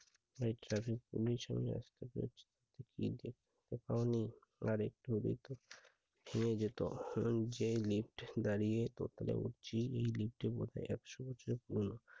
প্রায় traffic police কোথাও নেই আর একটু নিয়ে যেত। যে lift দাঁড়িয়ে উপরে উঠছি এই lift এর বয়স একশো বছরের পুরোনো।